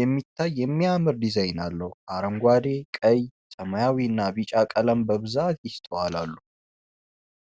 የሚታይ የሚያምር ዲዛይን አለው። አረንጓዴ፣ ቀይ፣ ሰማያዊና ቢጫ ቀለማት በብዛት ይስተዋላሉ።